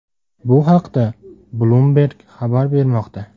Bu haqda Bloomberg xabar bermoqda.